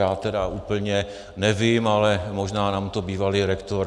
Já tedy úplně nevím, ale možná nám to bývalý rektor...